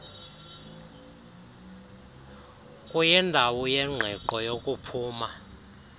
kuyindawo yengqiqo yokuphuma